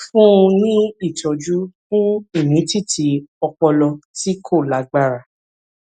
fún un ní ìtọjú fún ìmìtìtì ọpọlọ tí kò lágbára